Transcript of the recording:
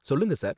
சொல்லுங்க, சார்